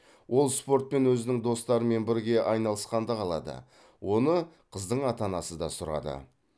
ол спортпен өзінің достарымен бірге айналысқанды қалады оны қыздың ата анасы да сұрады